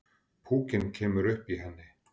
Púkinn kemur upp í henni.